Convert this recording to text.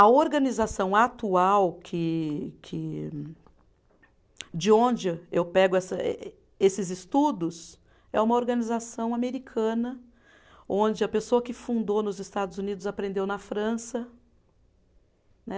A organização atual que que, de onde eu pego essa, ê ê esses estudos é uma organização americana, onde a pessoa que fundou nos Estados Unidos aprendeu na França. Né